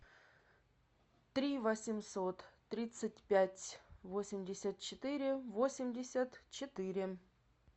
три восемьсот тридцать пять восемьдесят четыре восемьдесят четыре